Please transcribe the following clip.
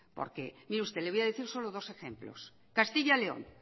porque mire usted le voy a decir solo dos ejemplos castilla y león